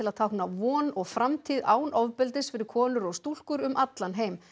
táknar von og framtíð án ofbeldis fyrir konur og stúlkur um allan heim